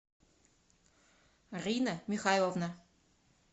рина михайловна